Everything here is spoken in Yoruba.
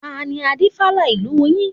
Tani Adífálà ìlú yín?